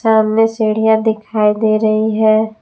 सामने सीढ़ियां दिखाई दे रही हैं।